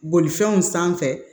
Bolifɛnw sanfɛ